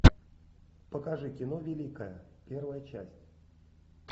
покажи кино великая первая часть